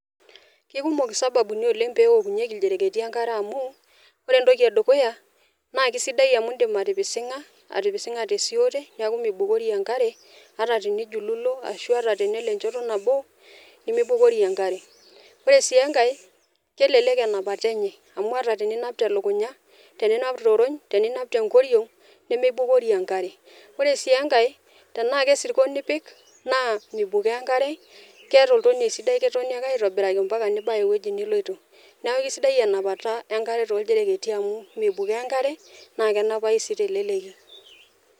Kikumok isababuni peokunyieki iljerketi enkare amu ore entoki edukuya naa kisidai amu indim atipisinga te siote niaku meibukori enkare ata tenijululo ashu ata tenelo enchoto nabo nimibukori enkare . Ore sii enake , kelelek enapata enye amu ata teninap telukunya, teninap torony , teninap te nkoriong nemibukori enkare . Ore sii enkae tenaa ke sirkon ipik naa mibukoo enkare , keeta oltonie sidai , ketoni ake aitobiraki ampaka nibaya ewueji niloito. Niaku kisidai enapata enkare toldereketi amu mibukoo enkare naa kenapayu sii teleleki.